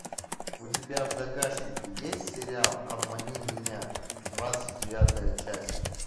у тебя в загашнике есть сериал обмани меня двадцать девятая часть